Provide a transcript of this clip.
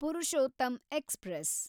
Purushottam express